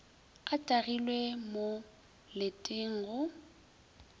a tagilwe mo letele go